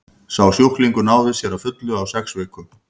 sá sjúklingur náði sér að fullu á sex vikum